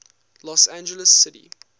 los angeles city